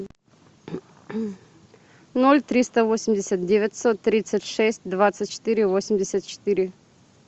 ноль триста восемьдесят девятьсот тридцать шесть двадцать четыре восемьдесят четыре